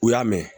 U y'a mɛn